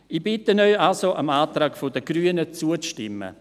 Ich bitte Sie also, dem Antrag der Grünen zuzustimmen.